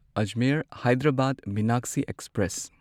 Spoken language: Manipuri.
ꯑꯖꯃꯤꯔ ꯍꯥꯢꯗ꯭ꯔꯕꯥꯗ ꯃꯤꯅꯥꯛꯁꯤ ꯑꯦꯛꯁꯄ꯭ꯔꯦꯁ